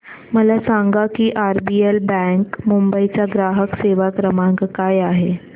मला सांगा की आरबीएल बँक मुंबई चा ग्राहक सेवा क्रमांक काय आहे